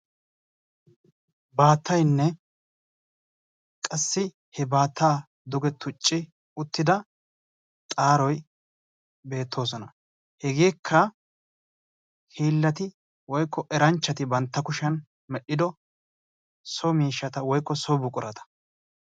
Baatayanne qassi he baataa duge tucci uttida xaaroy beetosona. Hegeeka hilaati woykko eranchchati bantta kushiyan medhdhido so miishshata woykko so buqurata.